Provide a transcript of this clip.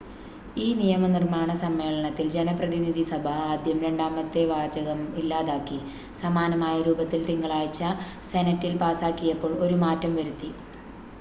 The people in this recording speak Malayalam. ഈ നിയമനിർമ്മാണ സമ്മേളനത്തിൽ ജനപ്രതിനിധിസഭ ആദ്യം രണ്ടാമത്തെ വാചകം ഇല്ലാതാക്കി സമാനമായ രൂപത്തിൽ തിങ്കളാഴ്ച സെനറ്റിൽ പാസാക്കിയപ്പോൾ ഒരു മാറ്റം വരുത്തി